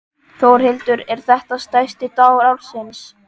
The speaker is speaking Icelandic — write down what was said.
Þórhildur: Er þetta stærsti dagur ársins?